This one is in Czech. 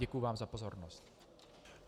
Děkuji vám za pozornost.